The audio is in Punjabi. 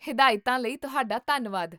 ਹਦਾਇਤਾਂ ਲਈ ਤੁਹਾਡਾ ਧੰਨਵਾਦ